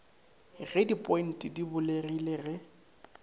ge dipointe di bulegile ge